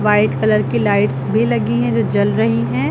White colour की लाइट्स भी लगी हैं जो जल रही हैं।